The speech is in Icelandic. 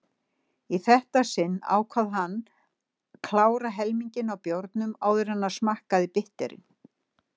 Í þetta sinn ákvað hann klára helminginn af bjórnum áður en hann smakkaði bitterinn.